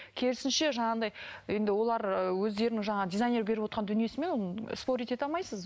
керісінше жаңағындай енді олар ыыы өздерінің жаңағы дизайнердің беріп отырған дүниесімен спорить ете алмайсыз